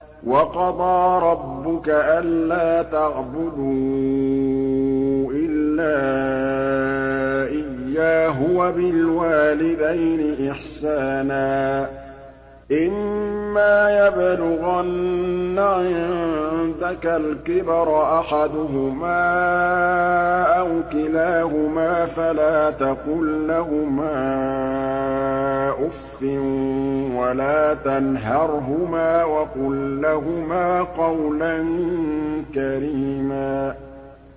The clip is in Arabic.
۞ وَقَضَىٰ رَبُّكَ أَلَّا تَعْبُدُوا إِلَّا إِيَّاهُ وَبِالْوَالِدَيْنِ إِحْسَانًا ۚ إِمَّا يَبْلُغَنَّ عِندَكَ الْكِبَرَ أَحَدُهُمَا أَوْ كِلَاهُمَا فَلَا تَقُل لَّهُمَا أُفٍّ وَلَا تَنْهَرْهُمَا وَقُل لَّهُمَا قَوْلًا كَرِيمًا